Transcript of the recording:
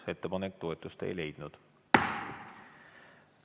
Ettepanek toetust ei leidnud.